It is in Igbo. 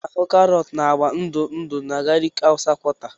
A na-ahụ karọt na agwa ndụ ndụ na Abakaliki hausa quarter.